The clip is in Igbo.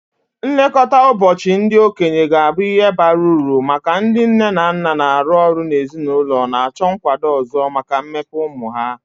Nlekọta ụbọchị ndị okenye ga-abụ ihe bara uru maka ndị nne na nna na-arụ ọrụ na ezinụlọ na-achọ nkwado ọzọ maka mmepe ụmụ ha.